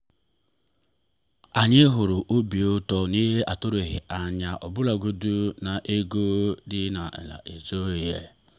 anyị hụrụ obi ụtọ n’ihe a tụrụghị anya ọbụlagodi na ego dị ala izu a.